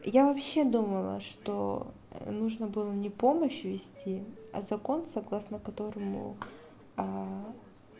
я вообще думала что нужно было не помощью вести а закон согласно которому а а